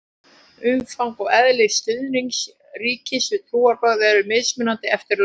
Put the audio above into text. umfang og eðli stuðnings ríkis við trúarbrögð eru mismunandi eftir löndum